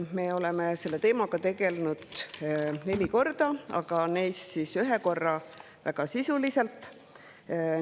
Me oleme selle teemaga tegelenud neli korda, neist ühe korra väga sisuliselt.